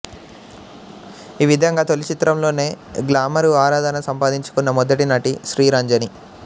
ఈవిధంగా తొలి చిత్రంతోనే గ్లామరు ఆరాధన సంపాదించుకున్న మొదటి నటి శ్రీరంజని